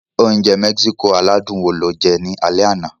Oúnjẹ Mexico aládùn wo lo jẹ ní alẹ́ àná?